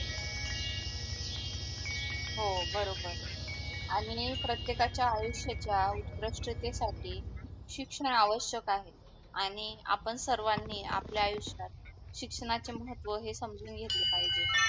हो बरोबर, आणि प्रतेकच्या आयुष्याच्या उत्कृष्टतेसाठी शिक्षण आवश्यक आहे आणि आपण सर्वानी आपल्या आयुष्यात शिक्षणाचे महत्व हे समजून घेतले पाहिजे.